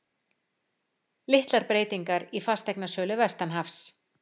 Litlar breytingar í fasteignasölu vestanhafs